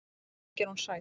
Þar að auki er hún sæt.